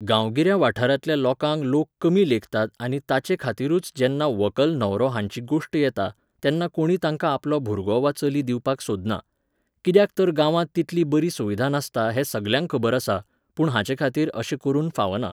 गांवगिऱ्या वाठारांतल्या लोकांक लोक कमी लेखतात आनी ताचेखातीरूच जेन्ना व्हंकल न्हवरो हांची गोश्ट येता, तेन्ना कोणी तांकां आपलो भुरगो वा चली दिवपाक सोदना. कित्याक तर गांवांत तितली बरी सुविधा नासता हें सगल्यांक खबर आसा. पूण हाचेखातीर अशें करून फावना